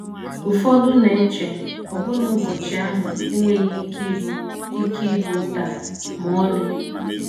Ụfọdụ na - eche ọbụna na ụbọchị ahụ enweghị ike ịbụ “ ike ịbụ “ taa ” ma ọlị.